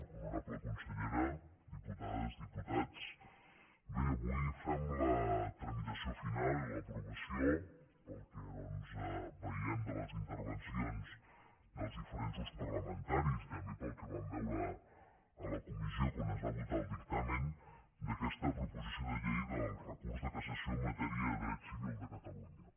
honorable consellera diputades diputats bé avui fem la tramitació final i l’aprovació pel que doncs veiem de les intervencions dels diferents grups parlamentaris i també pel que vam veure a la comissió quan es va votar el dictamen d’aquesta proposició de llei del recurs de cassació en matèria de dret civil de catalunya